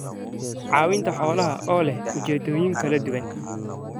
Caawinta Xoolaha oo leh ujeedooyin kala duwan.